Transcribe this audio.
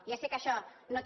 ja sé que això no té